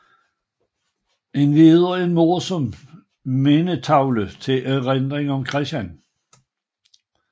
Endvidere en morsom mindetavle til erindring om Chr